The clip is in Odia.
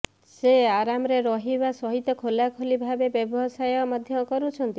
ସେ ଆରାମରେ ରହିବା ସହିତ ଖୋଲାଖୋଲି ଭାବେ ବ୍ୟବସାୟ ମଧ୍ୟ କରୁଛନ୍ତି